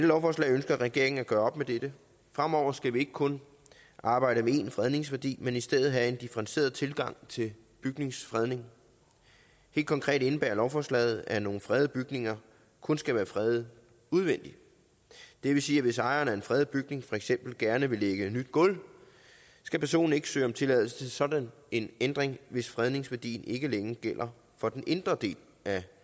lovforslag ønsker regeringen at gøre op med dette fremover skal vi ikke kun arbejde med én fredningsværdi men i stedet have en differentieret tilgang til bygningsfredning helt konkret indebærer lovforslaget at nogle fredede bygninger kun skal være fredet udvendigt det vil sige at hvis ejeren af en fredet bygning for eksempel gerne vil lægge nyt gulv skal personen ikke søge om tilladelse til sådan en ændring hvis fredningsværdien ikke længere gælder for den indre del af